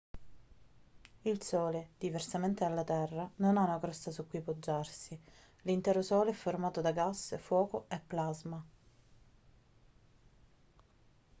il sole diversamente dalla terra non ha una crosta su cui poggiarsi l'intero sole è formato da gas fuoco e plasma